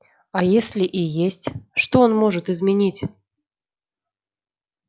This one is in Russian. а если и есть что он может изменить